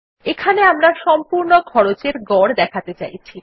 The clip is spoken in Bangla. এখানে আমরা সম্পূর্ণ খরচের গড় দেখাতে চাইছি